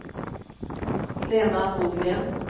Lena Nordgren